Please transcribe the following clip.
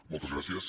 moltes gràcies